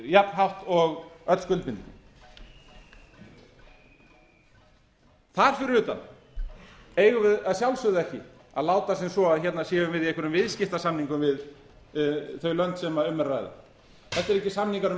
jafnhátt og öll skuldbindingin þar fyrir utan eigum við að sjálfsögðu ekki að láta sem svo að hérna séum við í einhverja viðskiptasamningum við þau lönd sem um er að ræða þetta eru ekki samningar um